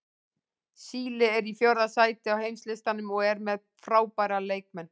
Síle er í fjórða sæti á heimslistanum og er með frábæra leikmenn.